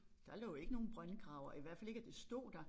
Der lå ikke nogen brøndgraver i hvert fald ikke at det stod der